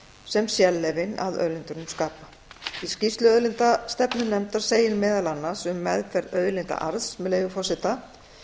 sem sérleyfin að auðlindunum skapa í skýrslu auðlindastefnunefndar segir meðal annars um meðferð auðlindaarðs með leyfi forseta